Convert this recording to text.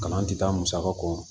Kalan tɛ taa musaka kɔ